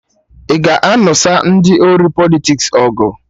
Ị ga-anụsa ndị ori Politiks ọgụ?